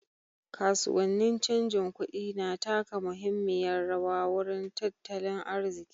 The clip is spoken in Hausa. Kasuwannin canjin kuɗi na taka muhimmiyar rawa wurin tattalin arziƙi.